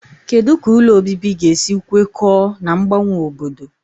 Kedu ka ụlọ obibi ga-esi kwekọọ na mgbanwe obodo?